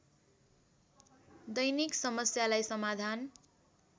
दैनिक समस्यालाई समाधान